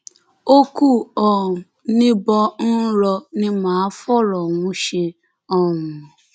ó kù um níbọn ń rọ ni mà á fọrọ ọhún ṣe um